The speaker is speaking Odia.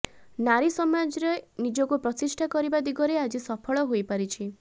ନାରୀ ସମାଜରେ ନିଜକୁ ପ୍ରତିଷ୍ଠା କରିବା ଦିଗରେ ଆଜି ସଫଳ ହୋଇପାରିଛି